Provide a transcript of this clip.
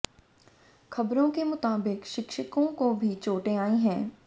ख़बरों के मुताबिक़ शिक्षकों को भी चोटें आई हैं